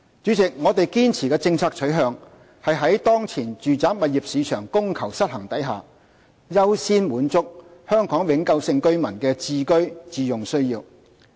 主席，我們堅持的政策取向是在當前住宅物業市場供求失衡下，優先滿足香港永久性居民的置居自用需要。